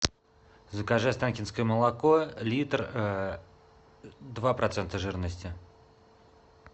закажи останкинское молоко литр два процента жирности